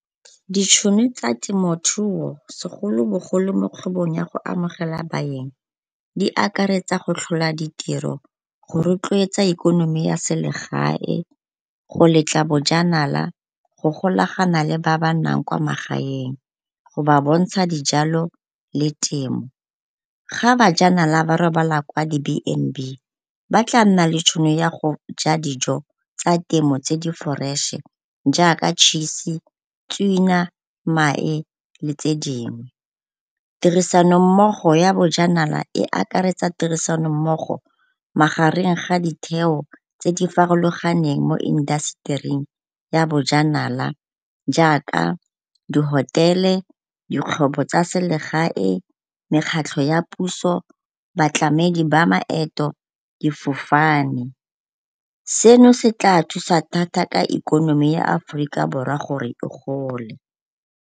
Ditšhono tsa temothuo segolo bogologolo mo kgwebong ya go amogela baeng di akaretsa go tlhola ditiro, go rotloetsa ikonomi ya selegae, go letla bojanala, go golagana le ba ba nnang kwa magaeng go ba bontsha dijalo le temo. Ga bajanala ba robala kwa di-B_N_B ba tla nna le tšhono ya go ja dijo tsa temo tse di-fresh-e jaaka tšhise, tswina, mae, le tse dingwe. Tirisanommogo ya bojanala e akaretsa tirisanommogo magareng ga ditheo tse di farologaneng mo industry-eng ya bojanala jaaka di-hotel-e, ditlhobo tsa selegae, mekgatlho ya puso, batlamedi ba maeto, difofane. Seno se tla thusa ka ikonomi ya Aforika Borwa gore e gole.